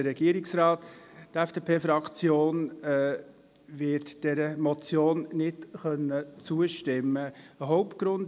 Die FDP-Fraktion wird dieser Motion nicht zustimmen können.